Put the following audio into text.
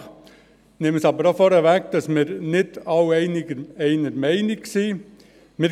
Ich nehme aber auch vorneweg, dass wir uns nicht alle einer Meinung sind.